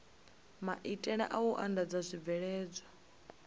maitele a u andadza zwibveledzwa